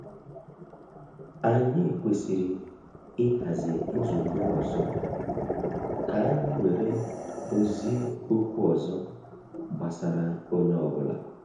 Anyị kwesịrị i hazi nzukọ ọzọ, ka anyị were dozie okwu ọzọ gbasara onye ọ́bụ̀la